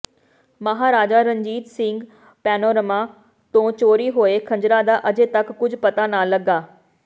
Maharaja Ranjit Singh panorama ਤੋਂ ਚੋਰੀ ਹੋਏ ਖੰਜਰਾਂ ਦਾ ਅਜੇ ਤਕ ਕੁਝ ਪਤਾ ਨਾ ਲੱਗਾ